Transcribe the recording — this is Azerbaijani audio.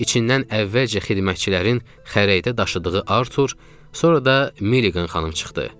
İçindən əvvəlcə xidmətçilərin xərəkdə daşıdığı Artur, sonra da Milliqan xanım çıxdı.